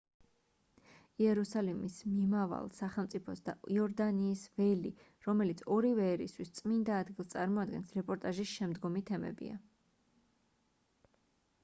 იერუსალიმის მომავალ სახელმწიფოს და იორდანიის ველი რომელიც ორივე ერისთვის წმინდა ადგილს წარმოადგენს რეპორტაჟის შემდგომი თემებია